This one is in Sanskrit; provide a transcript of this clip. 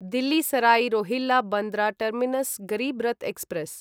Delhi Sarai Rohilla Bandra terminus Garib Rath express